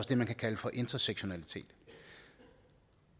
det man kan kalde for intersektionalitet